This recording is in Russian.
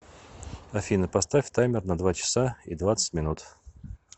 афина поставь таймер на два часа и двадцать минут